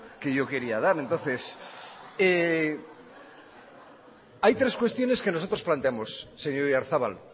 que yo quería dar entonces hay tres cuestiones que nosotros planteamos señor oyarzabal